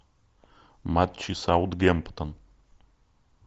матчи саутгемптон